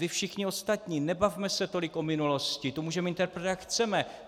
Vy všichni ostatní, nebavme se tolik o minulosti, tu můžeme interpretovat, jak chceme.